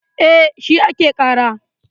E, shi ake ƙara.